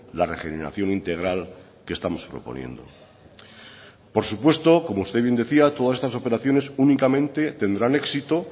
la regeneración integral que estamos proponiendo por supuesto como usted bien decía todas estas operaciones únicamente tendrán éxito